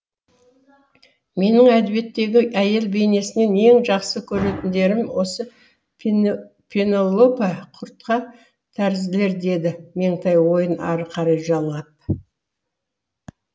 менін әдебиеттегі әйел бейнесінен ең жақсы көретіндерім осы пенелопа құртқа тәрізділер деді меңтай ойын ары қарай жалғап